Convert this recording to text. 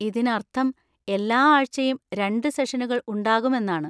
ഇതിനർത്ഥം എല്ലാ ആഴ്ചയും രണ്ടു സെഷനുകൾ ഉണ്ടാകും എന്നാണ്.